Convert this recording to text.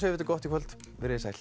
þetta gott í kvöld veriði sæl